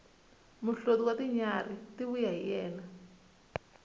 muhloti wa tinyarhi ti vuya hi yena